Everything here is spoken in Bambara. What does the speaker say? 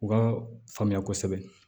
U ka faamuya kosɛbɛ